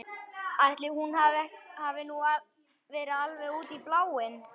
Ætli hún hafi nú verið alveg út í bláinn.